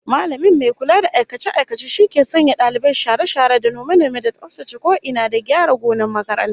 Mallamin mai kula da aikace-aikace shi ke sanya dalibai share-share da nome-nome da tsaftace ko ina, da gyara gonar makaranta